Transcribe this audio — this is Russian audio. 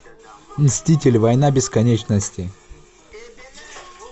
мстители война бесконечности